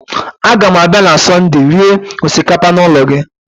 A gam abịa na Sọndee rie osikapa n'ụlọ gị